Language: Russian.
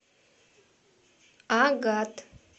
агат